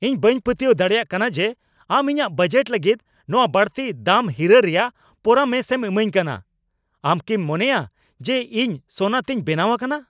ᱤᱧ ᱵᱟᱹᱧ ᱯᱟᱹᱛᱭᱟᱹᱣ ᱫᱟᱲᱮᱭᱟᱜ ᱠᱟᱱᱟ ᱡᱮ ᱟᱢ ᱤᱧᱟᱹᱜ ᱵᱟᱡᱮᱴ ᱞᱟᱹᱜᱤᱫ ᱱᱚᱶᱟ ᱵᱟᱹᱲᱛᱤ ᱫᱟᱢ ᱦᱤᱨᱟᱹ ᱨᱮᱭᱟᱜ ᱯᱚᱨᱟᱢᱚᱥᱮᱢ ᱮᱢᱟᱧ ᱠᱟᱱᱟ ! ᱟᱢ ᱠᱤᱢ ᱢᱚᱱᱮᱭᱟ ᱡᱮ ᱤᱧ ᱥᱳᱱᱟ ᱛᱤᱧ ᱵᱮᱱᱟᱣ ᱟᱠᱟᱱᱟ ?